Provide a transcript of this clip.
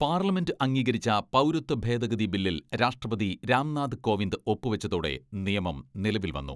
Parliament അംഗീകരിച്ച പൗരത്വ ഭേദഗതി ബില്ലിൽ രാഷ്ട്രപതി രാംനാഥ് കോവിന്ദ് ഒപ്പുവച്ചതോടെ നിയമം നിലവിൽ വന്നു.